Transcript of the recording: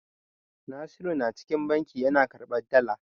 Nasiru na cikin banki yana karɓan dala.